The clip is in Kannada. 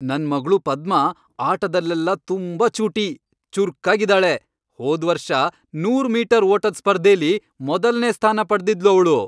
ನನ್ ಮಗ್ಳು ಪದ್ಮಾ ಆಟದಲ್ಲೆಲ್ಲ ತುಂಬಾ ಚೂಟಿ, ಚುರ್ಕಾಗಿದಾಳೆ. ಹೋದ್ವರ್ಷ ನೂರು ಮೀಟರ್ ಓಟದ್ ಸ್ಪರ್ಧೆಲಿ ಮೊದಲ್ನೇ ಸ್ಥಾನ ಪಡ್ದಿದ್ಳು ಅವ್ಳು.